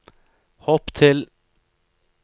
hopp til